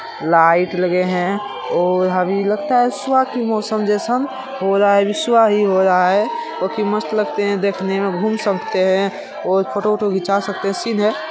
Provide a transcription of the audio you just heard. light लगे है और यहाँ भी लगता है सुबह की मौसम जैसा और सुबह हो रहा है जो की मस्त लगते है देखने में घूम सकते है और फोटो उटो खींचा सकते है --